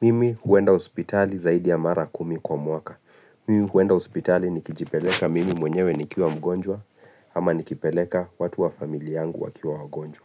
Mimi huenda hospitali zaidi ya mara kumi kwa mwaka. Mimi huenda hospitali nikijipeleka mimi mwenyewe nikiwa mgonjwa, ama nikipeleka watu wa familia yangu wakiwa wagonjwa.